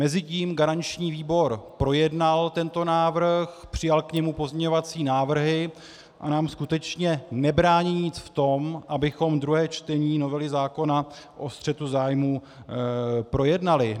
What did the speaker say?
Mezitím garanční výbor projednal tento návrh, přijal k němu pozměňovací návrhy a nám skutečně nebrání nic v tom, abychom druhé čtení novely zákona o střetu zájmů projednali.